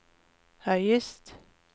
høyest